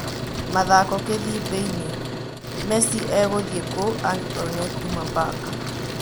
(Mathako Kĩthibĩini) Mesi egũthiĩkũũ angĩkorwo nĩekuuma Baka?